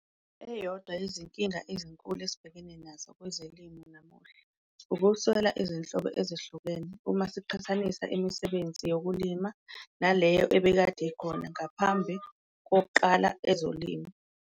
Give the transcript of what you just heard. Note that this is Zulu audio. Eyodwa yezinkinga ezinkulu esibhekene nazo kwezolimo namuhla ukweswela izinhlobo ezahlukene uma siqhathanisa imisebenzi yokulima naleyo ebekade ikhona ngaphambi koqala ezolimo.